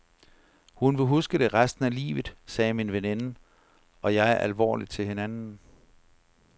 Hun vil huske det resten af livet, sagde min veninde og jeg alvorligt til hinanden.